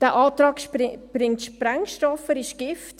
Der Antrag birgt Sprengstoff, er ist Gift.